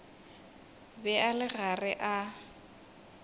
be a le gare a